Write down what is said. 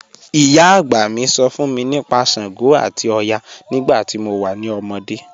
Iyà agbá mí sọ̀ fún mí nípà ṣàngó àti ọ̀yà nígbà tí mo wà ní òmódé.